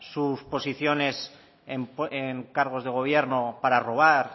sus posiciones en cargos de gobierno para robar